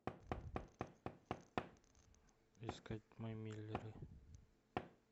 искать мы миллеры